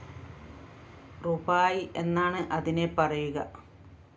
റുപായ് എന്നാണ് അതിനെ പറയുക